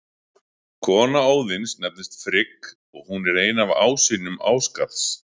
Kona Óðins nefnist Frigg og hún er ein af ásynjum Ásgarðs.